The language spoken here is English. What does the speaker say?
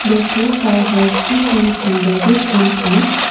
the sofa has cushions embedded in it.